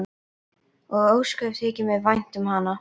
Og ósköp þykir mér vænt um hana.